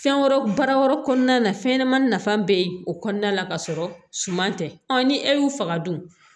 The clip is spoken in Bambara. Fɛn wɛrɛw baara wɛrɛw kɔnɔna na fɛnɲɛnɛmanin nafa bɛ o kɔnɔna la ka sɔrɔ suman tɛ ni e y'u faga dun